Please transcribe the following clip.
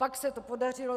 Pak se to podařilo.